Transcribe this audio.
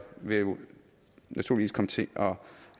vil naturligvis komme til at